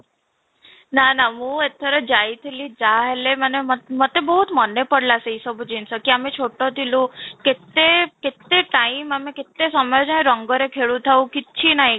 ନା ନା ମୁଁ ଏଥର ଯାଇଥିଲି ଯାହାହେଲେ ମାନେ ମୋ ମତେ ବହୁତ ମନେପଡିଲା, ସେ ସବୁ ଜିନିଷ କି ଆମେ ଛୋଟ ଥିଲୁ କେତେ କେତେ time ଆମେ କେତେ ସମୟ ଯାଏଁ ରଙ୍ଗରେ ଖେଳୁଥାଉ କିଛିନାହିଁ